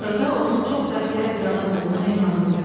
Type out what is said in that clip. Axırda onun çox bəxtiyar bir adam olduğuna inandım."